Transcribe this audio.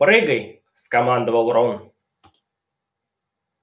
прыгай скомандовал рон